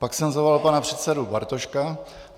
Pak jsem zavolal pana předsedu Bartoška.